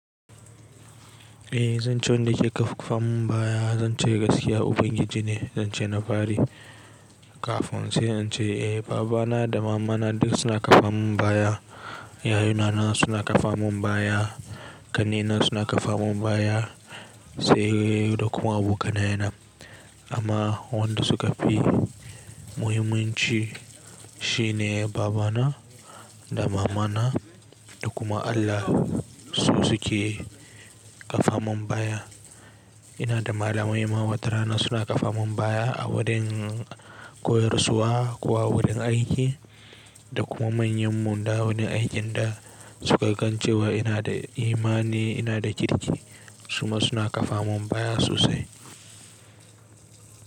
Eh zan ce wanda ke ƙarfafa mun baya zan ce gaskiya ubangiji ne zan ce na fari kafin sai in ce eh babana da mamana duk suna ƙafa mun baya, yayuna suna ƙafa mun baya, ƙannena suna ƙafa mun baya sai da kuma abokaina. Amma wanda suka fi muhimmanci shine babana da mamana da kuma Allah su suke ƙafa mun baya. Ina da malamai ma watarana suna ƙafa mun baya a wurin koyarwa kuwa wurin aiki da kuma manyan mu dawo ne aikin da suka gan cewa ina da imani ina da kirki su ma suna ƙafa mun baya sosai.